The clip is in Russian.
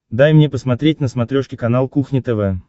дай мне посмотреть на смотрешке канал кухня тв